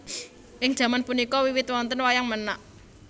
Ing jaman punika wiwit wonten Wayang Menak